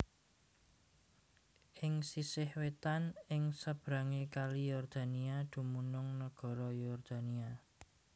Ing sisih wétan ing sebrangé Kali Yordania dumunung nagara Yordania